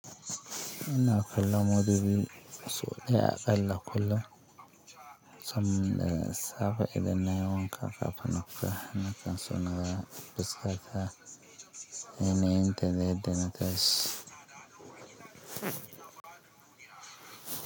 Ina kallon modubi so ɗaya a ƙalla kullum sam ne safe idan nayi wanka ƙafan na futa nakan so na ga fuskata yanayinta da yadda na tashi.